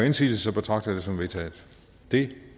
indsigelse betragter jeg det som vedtaget det